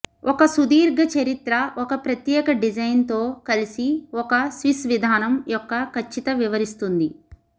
ఒక సుదీర్ఘ చరిత్ర ఒక ప్రత్యేక డిజైన్ తో కలిసి ఒక స్విస్ విధానం యొక్క ఖచ్చిత వివరిస్తుంది